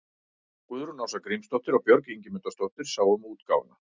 Guðrún Ása Grímsdóttir og Björk Ingimundardóttir sáu um útgáfuna.